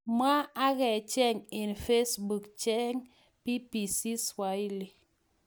Mwa akachek eng facebook, cheng BBC Swahili